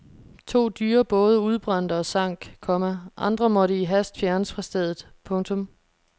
To dyre både udbrændte og sank, komma andre måtte i hast fjernes fra stedet. punktum